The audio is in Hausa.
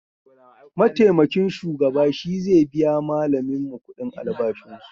Maitamakin shugaba shi ze biya malaminmu kudin albashin su